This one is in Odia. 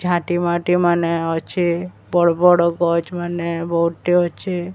ଝାଟିମାଟି ମାନେ ଅଛି ବଡ ବଡ ଗଛମାନେ ବହୁତି ଅଛି।